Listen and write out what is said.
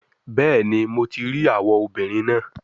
Bẹẹni, Mo ti rii awọ obinrin naa